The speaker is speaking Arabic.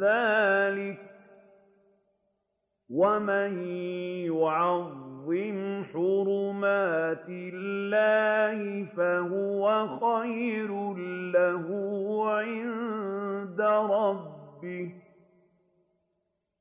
ذَٰلِكَ وَمَن يُعَظِّمْ حُرُمَاتِ اللَّهِ فَهُوَ خَيْرٌ لَّهُ عِندَ رَبِّهِ ۗ